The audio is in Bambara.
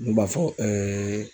U b'a fɔ